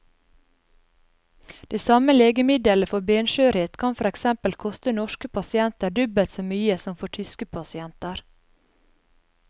Det samme legemiddelet for benskjørhet kan for eksempel koste norske pasienter dobbelt så mye som for tyske pasienter.